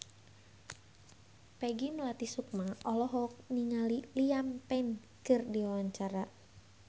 Peggy Melati Sukma olohok ningali Liam Payne keur diwawancara